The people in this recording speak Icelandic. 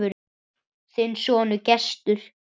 Þinn sonur, Gestur.